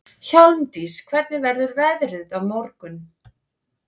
Hjálmdís, hvernig verður veðrið á morgun?